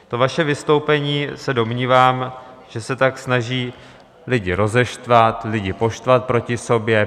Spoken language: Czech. To vaše vystoupení, se domnívám, že se tak snaží lidi rozeštvat, lidi poštvat proti sobě.